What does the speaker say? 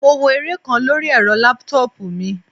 Mo wo eré kan lóri ẹ́rọ laptop mi.